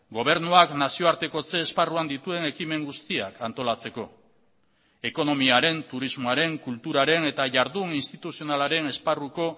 gobernuak nazioartekotze esparruan dituen ekimen guztiak antolatzeko ekonomiaren turismoaren kulturaren eta jardun instituzionalaren esparruko